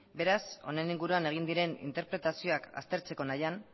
beraz honen inguruan egin diren interpretazioak aztertzeko nahian